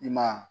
I ma ye